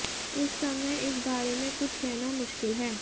इस समय इस बारे में कुछ कहना मुश्किल है